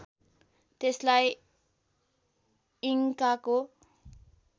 त्यसलाई इङ्काको